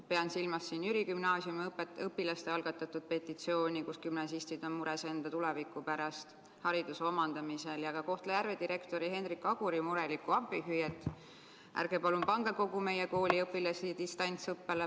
Ma pean silmas Jüri Gümnaasiumi õpilaste algatatud petitsiooni – gümnasistid on mures enda tuleviku pärast hariduse omandamisel – ja ka Kohtla-Järve direktori Hendrik Aguri murelikku appihüüet, et ärge palun pange kogu meie kooli õpilasi distantsõppele.